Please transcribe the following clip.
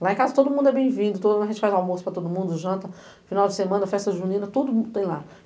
Lá em casa todo mundo é bem-vindo, todo ano a gente faz almoço para todo mundo, janta, final de semana, festa junina, tudo tem lá.